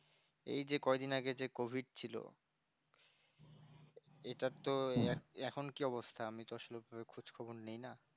কয়দিন আগে যে COVID ছিল এটার তো এখন কি অবস্থা আসলে আমি তো সেরকম খোঁজখবর নিই না